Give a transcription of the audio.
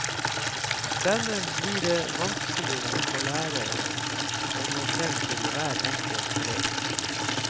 Dermed blir det vanskeligere for læreren å nå frem til hver enkelt elev.